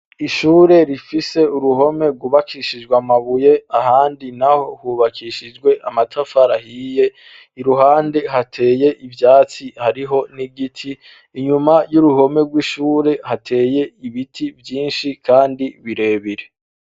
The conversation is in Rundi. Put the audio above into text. Ishure rifise uruhome rwubakishijwe amabuye, ahandi naho hubakishijwe amatafari ahiye; iruhande hateye ivyatsi, hariho n'igiti. Inyuma y'uruhome rw'ishure hateye ibiti vyinshi kandi birebire.